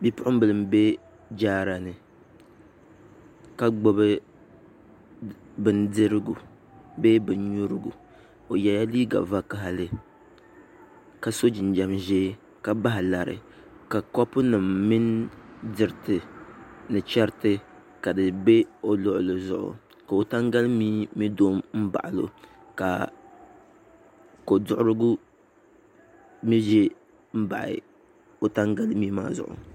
Bipuɣunbili n bɛ jaara ni ka gbubi bindirigu bee bin nyurigu o yɛla liiga vakaɣali ka so jinjɛm ʒiɛ ka bahi lari ka kopu nim mini diriti ni chɛriti ka di bɛ o luɣuli zuɣu ka o tangali mii mii do n ba o ka koduɣurigu mii ʒɛ n baɣa o tangali mii maa zuɣu